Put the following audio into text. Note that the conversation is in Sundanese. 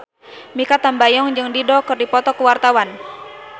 Mikha Tambayong jeung Dido keur dipoto ku wartawan